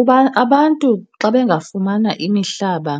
Uba abantu xa bengafumana imihlaba